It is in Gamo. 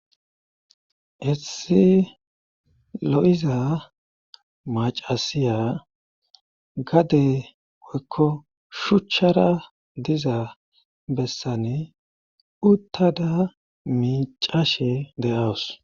Issi lo7iza macasiya gadey oykko shuchchara diza bessani uttada miicashe de7awus